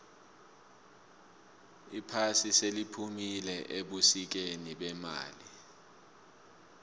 iphasi seliphumile ebusikeni bemali